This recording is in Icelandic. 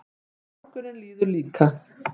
Og morgunninn líður líka.